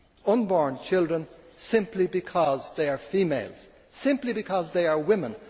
unborn children, simply because they are females, simply because they are women?